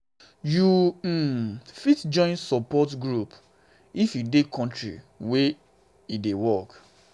you um fit join support support groups if you dey for country where e dey um work